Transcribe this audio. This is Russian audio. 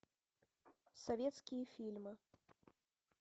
советские фильмы